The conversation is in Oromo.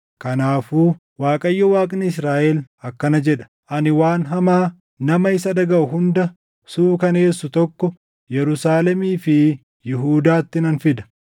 Kanaafuu Waaqayyo Waaqni Israaʼel akkana jedha: Ani waan hamaa nama isa dhagaʼu hunda suukaneessu tokko Yerusaalemii fi Yihuudaatti nan fida.